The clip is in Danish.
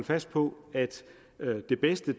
fast på at det bedste